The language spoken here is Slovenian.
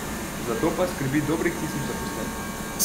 Za to pa skrbi dobrih tisoč zaposlenih.